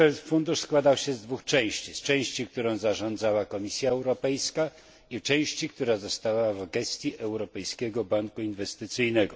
Fundusz składał się z dwóch części z części, którą zarządzała Komisja Europejska i części, która pozostała w gestii Europejskiego Banku Inwestycyjnego.